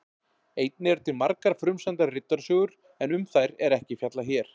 Einnig eru til margar frumsamdar riddarasögur en um þær er ekki fjallað hér.